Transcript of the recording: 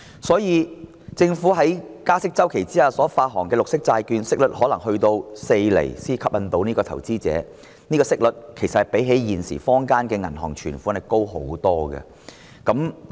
因此，政府在加息周期內發行綠色債券，息率可能要有4厘才能吸引投資者。這個息率其實較現時坊間的銀行存款息率高很多。